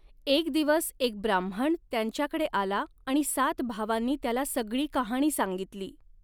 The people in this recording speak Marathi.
एक दिवस एक ब्राह्मण त्यांच्याकडे आला आणि सात भावांनी त्याला सगळी कहाणी सांगितली.